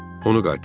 Onu qaytar.